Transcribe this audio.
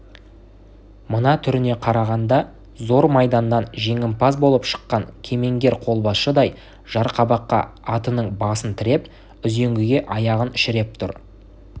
мына түріне қарағанда зор майданнан жеңімпаз болып шыққан кемеңгер қолбасшыдай жарқабаққа атының басын тіреп үзеңгіге аяғын шіреп тұр